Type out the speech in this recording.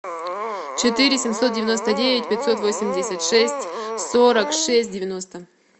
четыре семьсот девяносто девять пятьсот восемьдесят шесть сорок шесть девяносто